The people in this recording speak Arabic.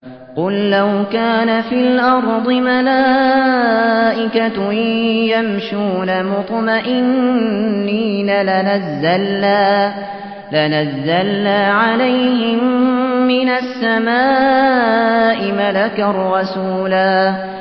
قُل لَّوْ كَانَ فِي الْأَرْضِ مَلَائِكَةٌ يَمْشُونَ مُطْمَئِنِّينَ لَنَزَّلْنَا عَلَيْهِم مِّنَ السَّمَاءِ مَلَكًا رَّسُولًا